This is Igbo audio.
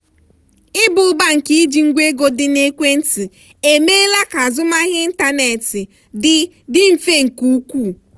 ịba ụba nke iji ngwa ego dị na ekwentị emeela ka azụmahịa ịntanetị dị dị mfe nke ukwuu.